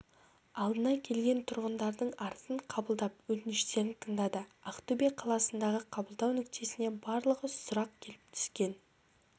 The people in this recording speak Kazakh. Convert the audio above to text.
алдына келген тұрғындардың арызын қабылдап өтініштерін тыңдады ақтөбе қаласындағы қабылдау нүктесіне барлығы сұрақ келіп түскен